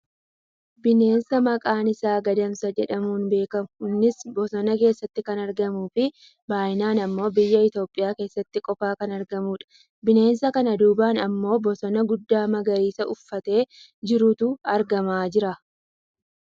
bineensa maqaan isaa Gadamsa jedhamuun beekkamu innis bosona keessatti kan argamuufi baayyinaan ammoo biyya Itoopiyaa keessatti qofa kan argamudha. bineensa kana duubaan ammoo bosona guddaa magariisa uffatee jirutu argama jira.